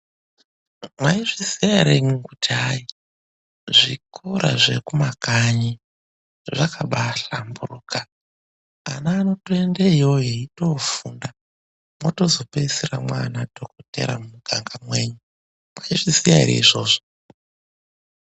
Maizviziva here kuti hai zvikora zvekumakanyi zvakabahlamburuka, ana anotoenda iyoyo eindofunda mozopedzisira mana dhogodheya muganga menyu, mayizviziya here izvozvo?